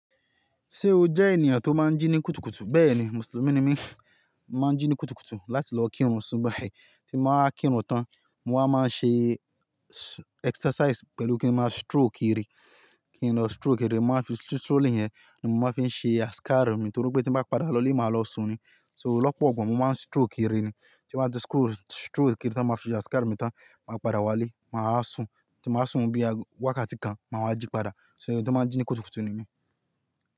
Ṣé o jẹ́ ènìyàn tó máa ń jí ní kùtùkùtù? Bẹ́ẹ̀ni, Mùsùlùmí ni mí, máa ń jí ní kùtùkùtù láti lọ kírun, ṣùbhi tìí mó máa kírun tán, mo wa máa ń ṣe exercise pẹ̀lú kí máa stroll ki rí, kí n lọ stroll ki de, mo máa ń fi strolling yen ni mo máa ń fi ṣe azcar mi, nítorí pé tí mo bá padà lọ ní mo máa lọ sùn ni. So lọ́pọ̀ igba mo máa ń stroll ki rí ni, tí mo bá ti stroll rí tí mo bá fi ṣe azcar mi tán, máa padà wálé, mà á sùn, tí mo bá sùn bí i wákàtí kan, mà á jí padà. So eyan ti o máa ń jí ní kùtùkùtù ni mí.